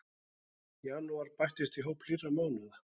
Janúar bættist í hóp hlýrra mánaða